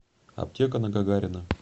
аптека на гагарина